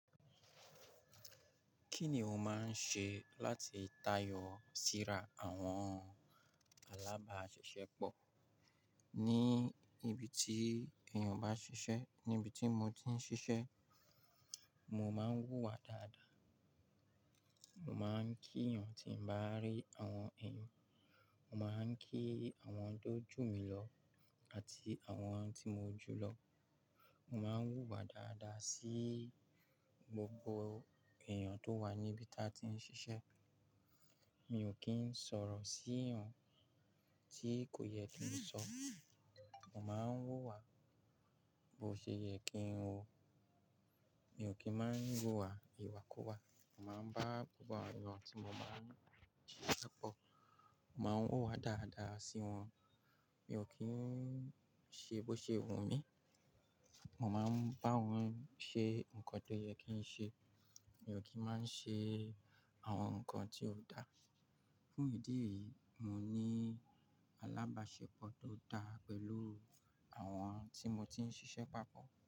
Kí ni o máa ń ṣe láti tayọ síra àwọn alábàáṣisẹ́pọ̀ ní ibi tí èèyàn bá ṣiṣẹ́? Níbi tí mo ti ń ṣiṣẹ́, mo máa ń wùwà dáadáa. Mo máa ń kí èèyàn tí mo bá rí, àwọn èèyàn. Mo máa ń kí àwọn tó jù mí lọ àti àwọn tí mo jù lọ. Mo máa ń wùwà dáadáa sí gbogbo èèyàn tó wà níbi tí a ti ń ṣiṣẹ́. Mi ò kí ń sọ̀rọ̀ sí èèyàn tí kò yẹ kí n sọ. Mo máa ń wùwà bó ṣe yẹ kí n wù. Mi ò kí máa ń wùwà ìwàkuwà. Mo máa ń bá gbògbò èèyàn tí mo bá ń ṣiṣẹ́ pọ̀. Mo máa ń hùwà dáadáa sí wọn. Mi ò kí ń ṣe bó ṣe wù mí. Mo máa ń bá wọn ṣe nǹkan tó yẹ kí n ṣe. Mi ò kí máa ń ṣe àwọn nǹkan tí ò dáa. Fún ìdí èyí, mo ní alábàáṣepọ̀ tó dáa pẹ̀lú àwọn tí mo ti ń ṣiṣẹ́ pọ̀.